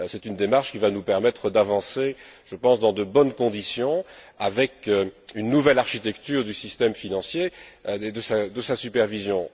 C'est une démarche qui va nous permettre d'avancer dans de bonnes conditions, avec une nouvelle architecture du système financier et de sa supervision.